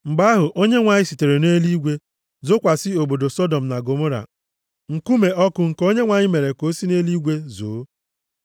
Mgbe ahụ Onyenwe anyị sitere nʼeluigwe zokwasị obodo Sọdọm na Gọmọra nkume ọkụ nke Onyenwe anyị mere ka o si nʼeluigwe zoo.